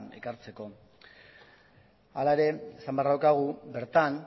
ekartzeko hala ere esan beharra daukagu bertan